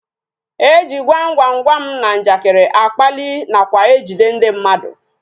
E ji gwam gwam gwam na njakịrị akpalị nakwa ejide ndị mmadụ